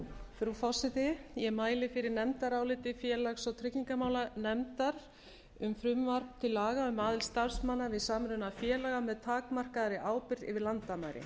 frú forseti ég mæli fyrir nefndaráliti félags og tryggingamálanefndar um frumvarp til laga um aðild starfsmanna við samruna félaga með takmarkaðri ábyrgð yfir landamæri